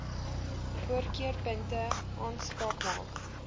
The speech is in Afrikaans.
voorkeurpunte aanspraak maak